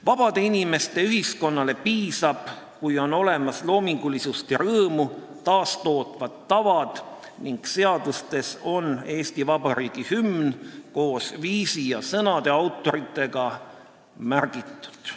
Vabade inimeste ühiskonnale piisab, kui on olemas loomingulisust ja rõõmu taastootvad tavad ning seaduses on Eesti Vabariigi hümn koos viisi ja sõnade autoritega märgitud.